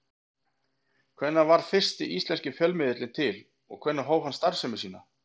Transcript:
Hvenær varð fyrsti íslenski fjölmiðillinn til og hvenær hóf hann starfsemi sína?